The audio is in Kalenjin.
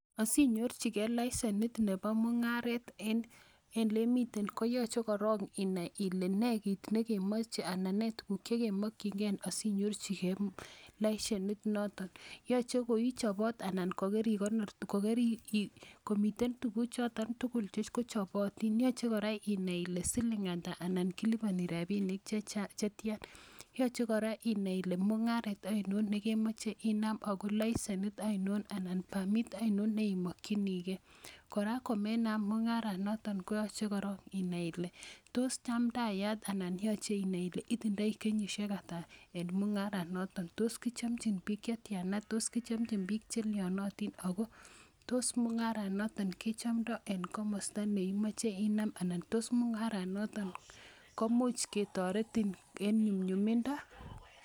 Asinyorchigei lesenit nepo mung'aret en ole imite koyache korok inai kole ne kiit ne ke mache anan ne tuguuk che kemakchingei asiinyorchigei lesenit notok. Yache ko ichopat anan ko kerikonor tugchotok. Komitei tuguchotok tugul kochopatin , ko yache kora inai ile siping' ata anan kilipani rapinik che tian. Yache kora inai ile mung'aret ainon ne kemache inai anan lesenit ainon anan permit ainon ne imalchinigei. Kora koma inam mung'arenotok koyache korok inai ile tos chamtayat anan yache inai ile itindai kenyishek ata eng mung'aranotok, tos kichamchin piik che tian a, tos kichamchin piil che liaanatin ako tos mung'aronatak kechamdai eng' komasta ne imache inam anan tos mung'aronatak komuch kearetin en nyumnyumindo.